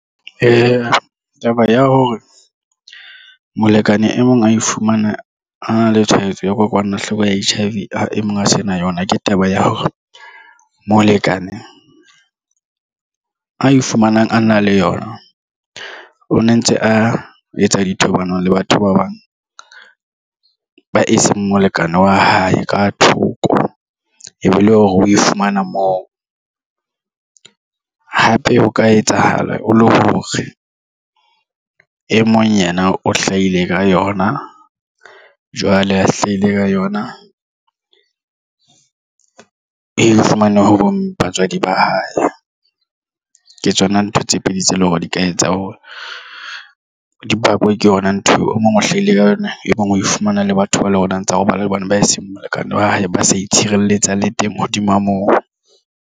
Taba ya hore molekane e mong a e fumana a na le tshwaetso ya kokwanahloko ya H_I_V e mong a se na yona ke taba ya hore molekane ae fumanang a na le yona o ne ntse a etsa dithobalano le batho ba bang ba eseng molekane wa hae ka thoko e be le hore o e fumana moo. Hape ho ka etsahala o le hore e mong yena o hlahile ka yona jwale a hlahile ka yona e fumane ho batswadi ba hae. Ke tsona ntho tse pedi tse leng hore di ka etsa hore di bakwa ke yona ntho eo o mong o hlaile ka yona. E bang o fumana le batho ba tsa ho robala hobane ba e seng molekane wa hae ba sa itshireletsa le teng hodima moo.